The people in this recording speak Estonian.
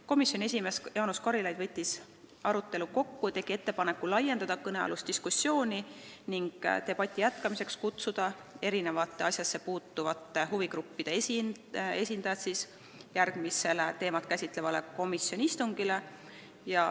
Komisjoni esimees Jaanus Karilaid võttis arutelu kokku ja tegi ettepaneku seda diskussiooni laiendada ning debati jätkamiseks kutsuda asjassepuutuvate huvigruppide esindajad järgmisele teemat käsitlevale komisjoni istungile.